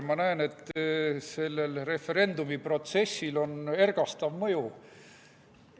Ma näen, et sellel referendumiprotsessil on ergastav mõju.